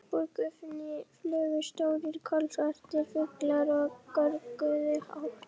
Upp úr gufunni flugu stórir, kolsvartir fuglar og görguðu hátt.